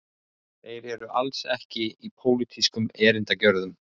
Þeir eru alls ekki í pólitískum erindagjörðum